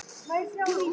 Mót tveggja mánaða.